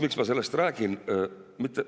Miks ma sellest räägin?